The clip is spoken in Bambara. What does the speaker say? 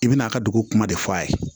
I bɛn'a ka dugu kuma de fɔ a ye